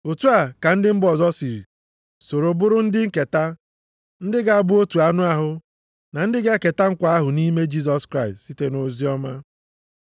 Otu a ka ndị mba ọzọ si soro bụrụ ndị nketa, ndị ga-abụ otu anụ ahụ na ndị ga-eketa nkwa ahụ nʼime Jisọs Kraịst site nʼoziọma.